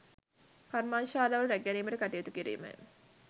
කර්මාන්ත ශාලාව රැක ගැනීමට කටයුතු කිරීමය